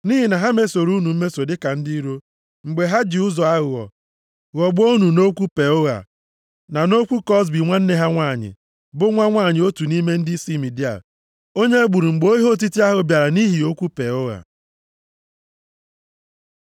Nʼihi na ha mesoro unu mmeso dịka ndị iro mgbe ha ji ụzọ aghụghọ ghọgbuo unu nʼokwu Peoa, na nʼokwu Kozbi nwanne ha nwanyị, bụ nwa nwanyị otu nʼime ndịisi Midia, onye e gburu mgbe ihe otiti ahụ bịara nʼihi okwu Peoa.”